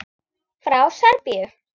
Frá Serbíu.